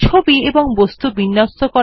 ছবি এবং বস্তু বিন্যস্ত করা